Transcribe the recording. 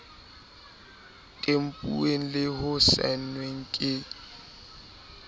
tempuweng le ho saenwa ke